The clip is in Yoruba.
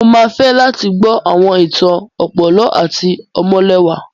Mo máa fẹ́ láti gbọ́ àwọn ìtàn ọ̀pọ̀lọ́ àti ọmọlẹwà.